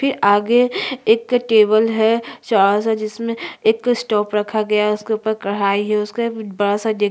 फिर आगे एक टेबल है चाढ़ा सा जिसमे एक स्टोव रखा गया है उसके ऊपर कढ़ाई है उसके बड़ा सा डे--